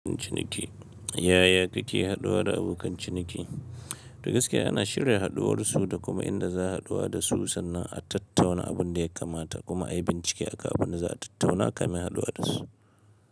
Ciniki. Yaya kake haɗuwa da abokan ciniki? Dagaske ana shirya haɗuwar su da kuma inda za a haɗuwa da su sannan a tattauna abin da ya kamata kuma a yi bincike akan abin da za a tattauna kamin a haɗuwa da su.